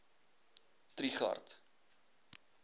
trigardt